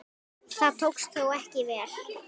Það tókst þó ekki vel.